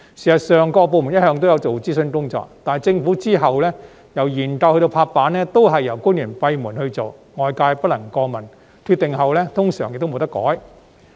事實上，各部門一向有進行諮詢工作，但由研究到拍板也是由官員閉門進行，外界不能過問，決定後亦通常不能更改。